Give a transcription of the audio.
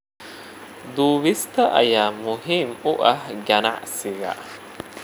Duubista ayaa muhiim u ah ganacsiga.